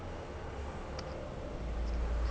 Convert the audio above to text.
.